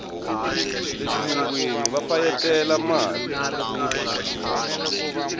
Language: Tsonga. le xilungwini va fayetela mali